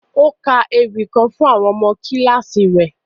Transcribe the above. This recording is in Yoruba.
O ka èwi kan fun àwọn ọmọ kílasì rẹ.